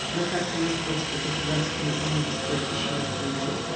на карте московский государственный университет пищевых производств